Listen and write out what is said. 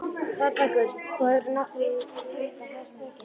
ÞÓRBERGUR: Þú hefur náttúrlega dengt á þær spekinni.